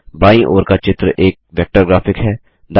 बायीं ओर का चित्र एक वेक्टर ग्राफिक है